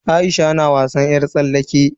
Aisha na wasan yar tsallake.